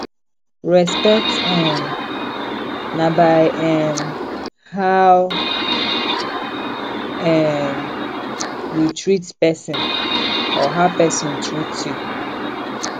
respect um na by um how um you treat persin or how persin treat you